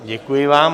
Děkuji vám.